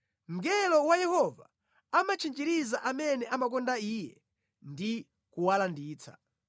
Mngelo wa Yehova amatchinjiriza amene amakonda Iye ndi kuwalanditsa.